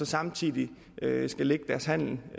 samtidig lægger deres handel